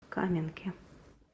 каменке